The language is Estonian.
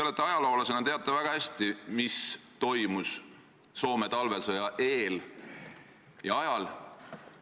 Te ajaloolasena teate väga hästi, mis toimus Soome talvesõja eel ja ajal.